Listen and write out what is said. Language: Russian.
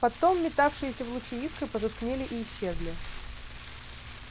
потом метавшиеся в луче искры потускнели и исчезли